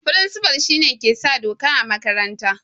Firinsifa shine ke sa doka a makaranta